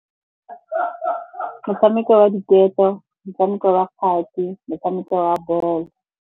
Ka motshameko wa diketo, motshameko wa kgati, motshameko wa bolo.